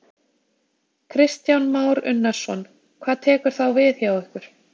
Kristján Már Unnarsson: Hvað tekur þá við hjá ykkur?